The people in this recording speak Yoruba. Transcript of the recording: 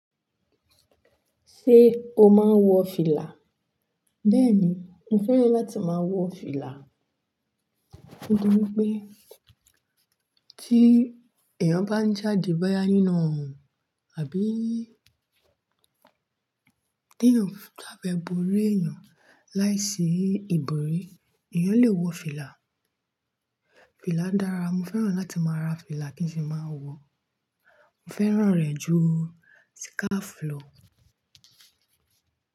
Ṣé o máa ń wọ fìlà? Bẹ́ẹ̀ni, mo fẹ́ràn láti máa wọ fìlà. Nítorí pé tí èèyàn bá ń jáde báyá nínú ọrun àbí ti eyan bà fe bọ̀rí èyàn láìsí ìbòrí, èèyàn lè wọ fìlà. Fìlà dára, mo fẹ́ràn láti máa ra fìlà kí n sì máa wọ, mo fẹ́ràn rẹ̀ ju síkáfù lọ.